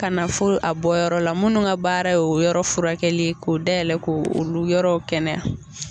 Ka na fo a bɔyɔrɔ la munnu ka baara ye o yɔrɔ furakɛli k'o dayɛlɛ ko olu yɔrɔw kɛnɛya.